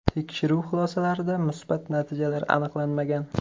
Tekshiruv xulosalarida musbat natijalar aniqlanmagan.